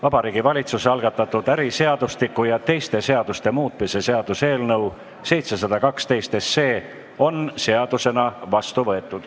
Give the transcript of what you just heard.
Vabariigi Valitsuse algatatud äriseadustiku ja teiste seaduste muutmise seaduse eelnõu 712 on seadusena vastu võetud.